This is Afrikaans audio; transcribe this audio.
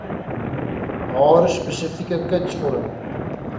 haar spesifieke kunsvorm